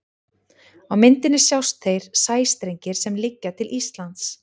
á myndinni sjást þeir sæstrengir sem liggja til íslands